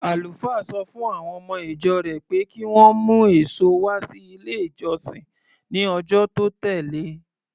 Àlùfáà sọ fún àwọn ọmọ-ìjọ rẹ̀ pé kí wọ́n mú èso wá sí ilé-ìjọsìn ní ọjọ́ tó tẹ̀le.